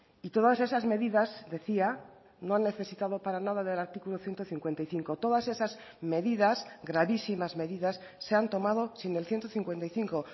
y todas esas medidas decía no han necesitado para nada del artículo ciento cincuenta y cinco todas esas medidas gravísimas medidas se han tomado sin el ciento cincuenta y cinco